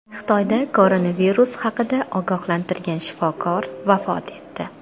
Xitoyda koronavirus haqida ogohlantirgan shifokor vafot etdi.